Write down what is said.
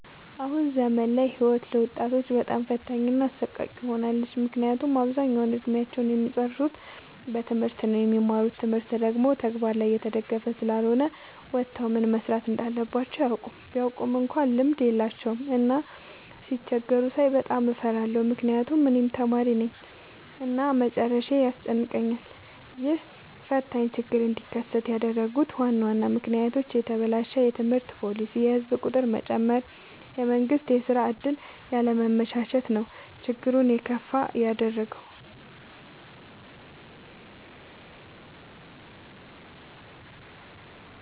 አሁን ዘመን ላይ ህይወት ለወጣቶች በጣም ፈታኝ እና አሰቃቂ ሆናለች። ምክንያቱም አብዛኛውን እድሜአቸውን እሚጨርሱት በትምህርት ነው። የሚማሩት ትምህርት ደግሞ በተግበር ላይ የተደገፈ ስላልሆነ ወተው ምን መስራት እንዳለባቸው አያውቁም። ቢያውቁ እንኳን ልምድ የላቸውም። እና ሲቸገሩ ሳይ በጣም እፈራለሁ ምክንያቱም እኔም ተማሪነኝ እና መጨረሻዬ ያስጨንቀኛል። ይህ ፈታኝ ችግር እንዲከሰት ያደረጉት ዋና ዋና ምክንያቶች፦ የተበላሸ የትምህርት ፓሊሲ፣ የህዝብ ቁጥር መጨመር፣ የመንግስት የስራ ዕድል ያለማመቻቸት ነው። ችግሩን የከፋ ያደረገው።